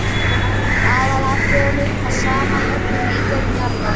Það er í aðalatriðum það sama í öllum lífverum jarðar.